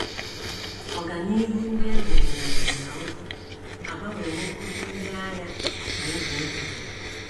Ọganihu ndị e nwere na nkà na ụzụ agbanwewo otú ndị agha si eche echiche.